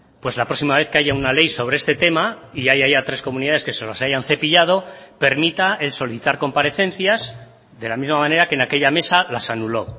pues la próxima vez que haya una ley sobre este tema y haya tres comunidades que se los hayan cepillado permita el solicitar comparecencias de la misma manera que en aquella mesa las anuló